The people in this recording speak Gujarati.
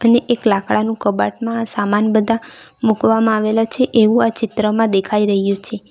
ને એક લાકડાનું કબાટમાં સામાન બધા મુકવામાં આવેલા છે એવું આ ચિત્રમાં દેખાઈ રહ્યું છે.